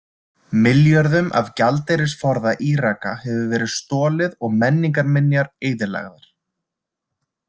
Milljörðum af gjaldeyrisforða Íraka hefur verið stolið og menningjarminjar eyðilagðar.